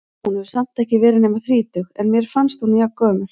Hún hefur samt ekki verið nema þrítug, en mér fannst hún gömul.